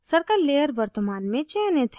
circle layer वर्तमान में चयनित है